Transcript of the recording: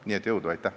Nii et jõudu!